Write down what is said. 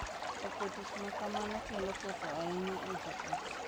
Loko tich ma kamano kelo ketho ahinya e joot